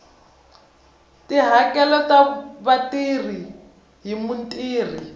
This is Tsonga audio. tihakelo ta vatirhi hi mutirhi